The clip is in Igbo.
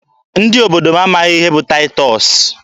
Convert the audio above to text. Ndị obodo m amaghị ihe bụ Taịtọs.